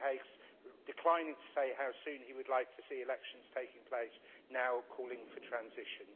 William Hague, declining to say how soon he would like to see elections taking place, is now calling for transition.